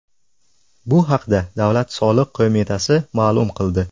Bu haqda Davlat soliq qo‘mitasi ma’lum qildi .